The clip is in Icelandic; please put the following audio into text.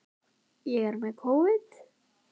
við gæslu í Grænlandshafi norður af Íslandi.